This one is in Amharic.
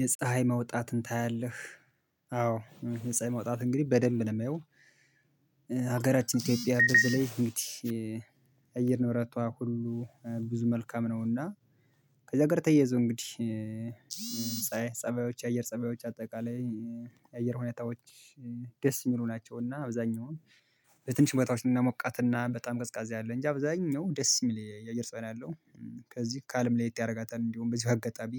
የፀሀይ መውጣትን ታያለህ? አዎ የፀሀይ መውጣት እንግዲህ በደንብ ነው የሚያየው ሀገራችን ኢትዮጵያ በዚህ ላይ እንግዲህ እየር ንብረቷ ሁሉ ብዙ መልካም ነውና ከዛ ጋር ተያይዞ እንግዲህ ፀባዮች የአየር ፀባዮች አጠቃላይ የአየር ሁኔታዎች ደስ የሚሉ ናቸው እና አብዛኛውን በትንሽ ቦታዎች እና ሞቃት እና በጣም ቀዝቃዛ አለ እንጂ አብዛኛው ደስ የሚል የአየር ፀባይ ነው ያለው ከዚህ ከአለም ላይ ለየት ያደርጋታል እንዲሁም በዚህ አጋጣሚ